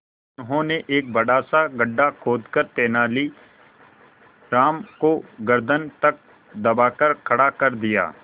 उन्होंने एक बड़ा सा गड्ढा खोदकर तेलानी राम को गर्दन तक दबाकर खड़ा कर दिया